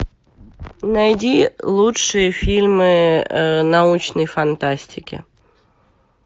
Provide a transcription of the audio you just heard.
найди лучшие фильмы научной фантастики